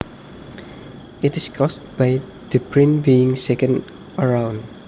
It is caused by the brain being shaken around